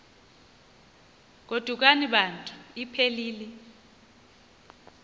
godukani bantu iphelil